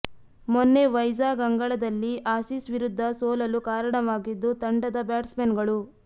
ಮೊನ್ನೆ ವೈಜಾಗ್ ಅಂಗಳದಲ್ಲಿ ಆಸಿಸ್ ವಿರುದ್ಧ ಸೋಲಲು ಕಾರಣವಾಗಿದ್ದು ತಂಡದ ಬ್ಯಾಟ್ಸ್ಮನ್ಗಳು